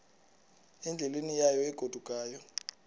endleleni yayo egodukayo